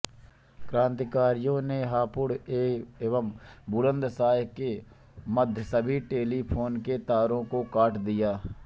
क्रांतिकारियों ने हापुड़ एवं बुलन्दशह के मध्य सभी टेलीफोन के तारों को काट दिया